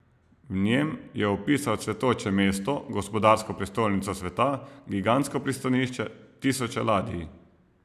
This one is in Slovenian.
V njem je opisal cvetoče mesto, gospodarsko prestolnico sveta, gigantsko pristanišče, tisoče ladij.